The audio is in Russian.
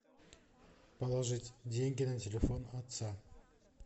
положить деньги на телефон отца